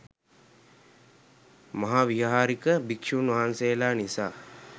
මහාවිහාරික භික්‍ෂූන් වහන්සේලා නිසා